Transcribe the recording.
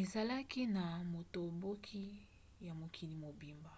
ezalaki na botomboki na mokili mobimba